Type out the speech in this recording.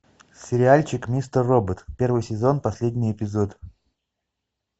сериальчик мистер робот первый сезон последний эпизод